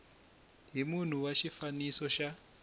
hi munhu wa xifaniso xa